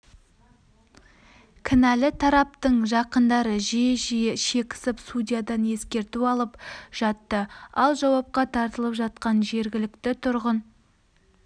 кінәлі тараптың жақындары жиі-жиі шекісіп судьядан ескерту алып жатты ал жауапқа тартылып жатқан жергілікті тұрғын